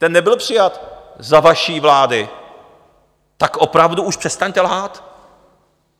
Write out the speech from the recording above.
Ten nebyl přijat za vaší vlády, tak opravdu už přestaňte lhát!